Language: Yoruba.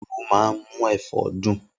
Irú máa ń mú ẹ̀fọ́ dùn.